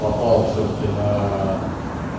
попал всё-таки на